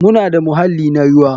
Muna da muhalli na ruwa.